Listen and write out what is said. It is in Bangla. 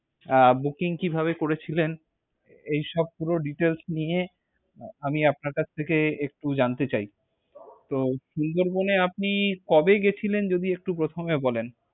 আহ booking কিভাবে করে ছিলেন। এইসব পুরো details নিয়ে আমি আপনার কাছ থেকে একটু জানতে চাই। তো সুন্দরবন এ আপনি কবে গিয়েছিলেন, যদি একটু প্রথমে বলেন।